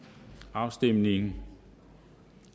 afstemningen